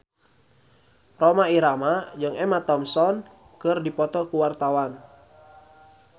Rhoma Irama jeung Emma Thompson keur dipoto ku wartawan